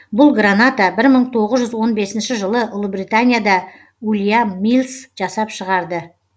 бұл граната бір мың тоғыз он бесінші жылы ұлыбританияда ульям миллс жасап шығарды